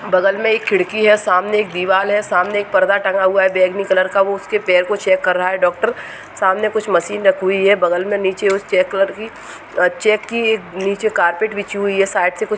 बगल मैं एक खिड़की है। सामने एक दीवाल है। सामने एक परदा टंगा हुआ है बेंगनी कलर का वो उसके पैर को चेक कर रहा है डॉक्टर सामने कुछ मशीन रखी हुई है बगल में नीचे उस चेक कलर की चेक की नीचे एक कार्पेट बिछी हुई है साइड से कुछ --